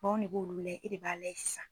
anw ne b'olu layɛ e de b'a layɛ sisan.